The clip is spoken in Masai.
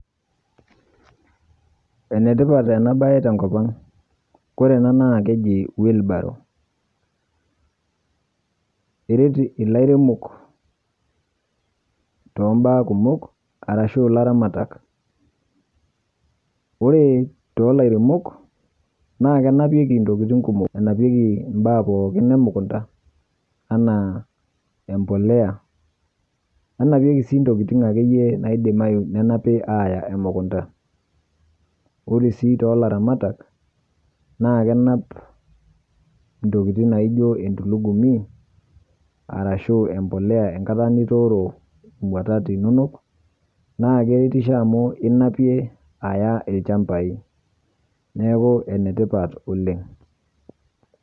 Enetipat ena baye tenkopang'. Ore ena naa keji wheelbarrow eret ilairemok too baa kumok arashu ilaramatak. Oree too lairemok naa kenapieki intokitin kumok, enapieki imbaa pookin emukunta enaa embolea, nenapieki sii intokitin akeyie naidimi nenapi aaya emukunta. Ore sii too laramatak naa kenap intokitin naijo entulugumi arashuu embolea enkata nitooro imuatat inonok ninapie aya ilchambai. Neeku enetipat oleng'.